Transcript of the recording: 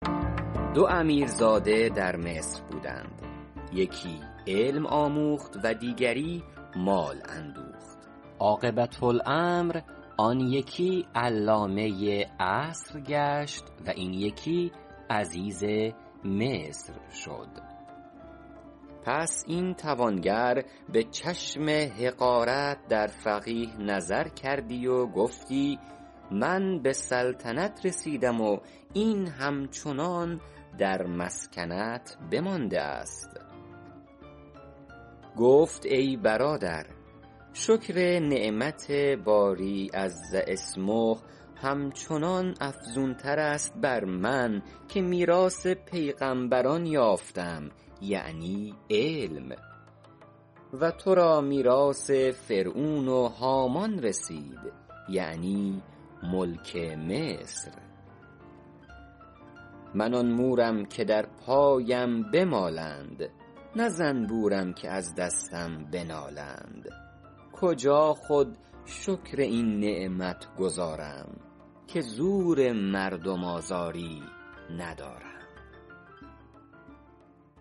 دو امیرزاده در مصر بودند یکی علم آموخت و دیگری مال اندوخت عاقبة الامر آن یکی علامه عصر گشت و این یکی عزیز مصر شد پس این توانگر به چشم حقارت در فقیه نظر کردی و گفتی من به سلطنت رسیدم و این همچنان در مسکنت بمانده است گفت ای برادر شکر نعمت باری عز اسمه همچنان افزون تر است بر من که میراث پیغمبران یافتم یعنی علم و تو را میراث فرعون و هامان رسید یعنی ملک مصر من آن مورم که در پایم بمالند نه زنبورم که از دستم بنالند کجا خود شکر این نعمت گزارم که زور مردم آزاری ندارم